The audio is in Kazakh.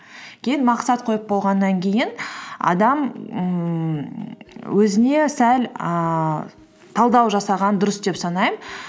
кейін мақсат қойып болғаннан кейін адам ммм өзіне сәл ііі талдау жасаған дұрыс деп санаймын